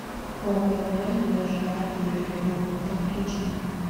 повар вор его жена и ее любовник подключи